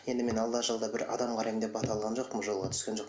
енді мен алда жалда бір адам қараймын деп бата алған жоқпын жолға түскен жоқ